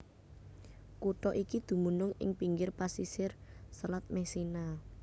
Kutha iki dumunung ing pinggir pasisir Selat Messina